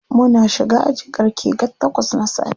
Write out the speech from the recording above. Muna shiga aji ƙarge takwas na safe.